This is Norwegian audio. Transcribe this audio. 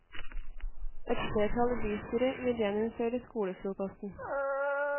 Et flertall i bystyret vil gjeninnføre skolefrokosten.